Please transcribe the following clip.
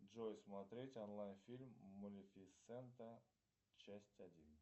джой смотреть онлайн фильм малефисента часть один